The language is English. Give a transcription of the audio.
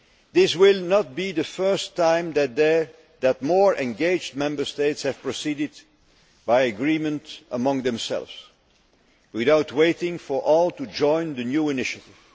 This will not be the first time that more engaged Member States have proceeded by agreement among themselves, without waiting for all to join the new initiative.